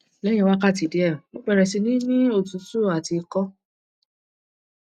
leyin wakati die mo bere si ni otutu ati iko